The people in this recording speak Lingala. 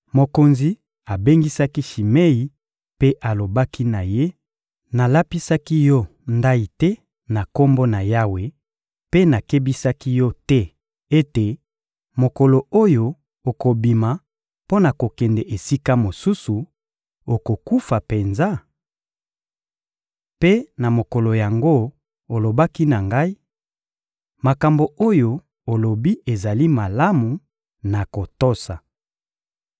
Mokonzi abengisaki Shimei mpe alobaki na ye: — Nalapisaki yo ndayi te na Kombo na Yawe mpe nakebisaki yo te ete mokolo oyo okobima mpo na kokende esika mosusu, okokufa penza? Mpe na mokolo yango, olobaki na ngai: «Makambo oyo olobi ezali malamu, nakotosa.»